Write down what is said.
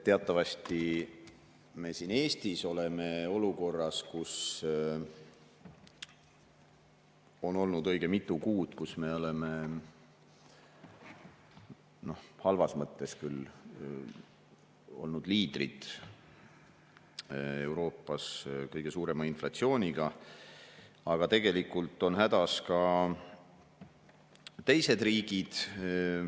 Teatavasti meie siin Eestis oleme olukorras, kus õige mitu kuud me oleme, halvas mõttes küll, olnud liidrid Euroopas, kõige suurema inflatsiooniga, aga tegelikult on hädas ka teised riigid.